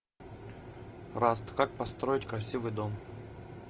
раст как построить красивый дом